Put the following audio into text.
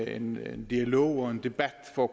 en dialog og en debat for